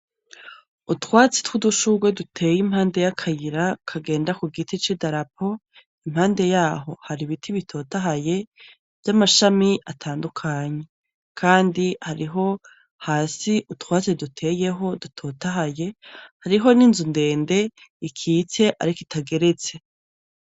Utwatsi tudushurwe duteye impande y'akayira kagenda kuguti c'idarapo mpande yaho har'ibiti bitotahaye vy'amashami atadukanye kandi hariho hasi utwatsi duteyeho dutohaye hariho n'inzu ndende ikitse ariko itageretse.